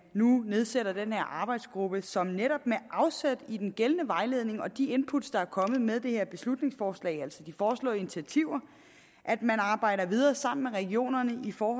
nu nedsættes den her arbejdsgruppe som netop med afsæt i den gældende vejledning og de input der er kommet med det her beslutningsforslag altså de foreslåede initiativer arbejder videre sammen med regionerne for